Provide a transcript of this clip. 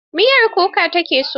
Miyar kuka ta ke so.